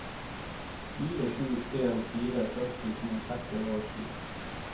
fire sju en fire førtito ett hundre og sju